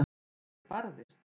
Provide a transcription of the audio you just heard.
Og ég barðist.